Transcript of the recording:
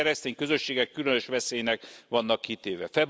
A keresztény közösségek különös veszélynek vannak kitéve.